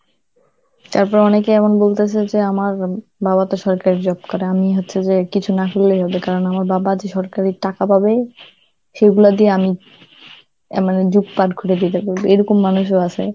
তারপর অনেকে এখন বলতেছে যে আমার উম বাবা তো সরকারি job করে, আমি হচ্ছে যে কিছু না করলেই হল, কারন আমার বাজাজের সরকারি টাকা পাবে সেইগুলা দিয়ে আমি অ্যাঁ মানে যুগ পার করে দিবো, এরকম মানুষও আছে.